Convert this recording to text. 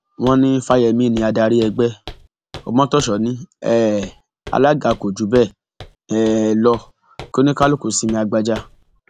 wọn ní fáyemí ni adarí ẹgbẹ ọmọtọsọ ní um alága kò jù bẹẹ um lọ kí oníkálukú sinmi agbaja